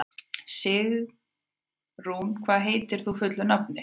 Stígrún, hvað heitir þú fullu nafni?